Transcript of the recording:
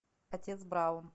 отец браун